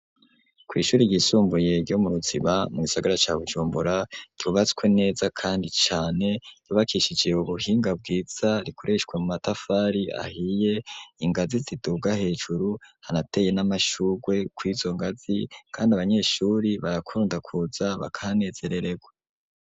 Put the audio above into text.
Kw'ishuri ryisumbuye ryo mu Ruziba, mu gisagara ca Bujumbura, ryubatswe neza kandi cane ryubakishije ubuhinga bwiza, rikoreshwa mu matafari ahiye, ingazi ziduga hejuru, harateye n'amashurwe kw'izo ngazi, kandi abanyeshuri barakunda kuza bakahanezerererwa.